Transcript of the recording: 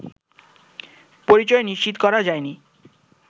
পরিচয় নিশ্চিত করা যায়নি